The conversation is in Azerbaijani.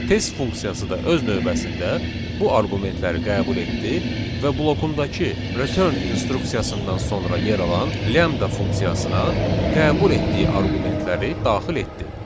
Test funksiyası da öz növbəsində bu arqumentləri qəbul etdi və blokundakı return instruksiyasından sonra yer alan lambda funksiyasına qəbul etdiyi arqumentləri daxil etdi.